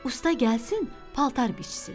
Usta gəlsin, paltar biçsin.